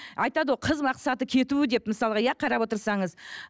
айтады ғой қыз мақсаты кету деп мысалға иә қарап отырсаңыз